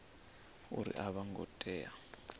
uri a vho ngo tea